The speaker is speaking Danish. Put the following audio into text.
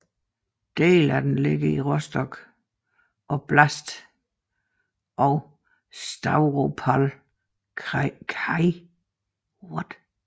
Dele af den ligger i Rostov oblast og Stavropol kraj